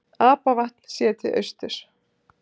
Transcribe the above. apavatn séð til austurs